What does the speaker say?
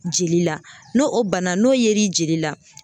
Jeli la n'o o banna n'o yer'i jeli la.